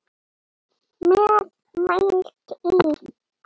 Með Valtý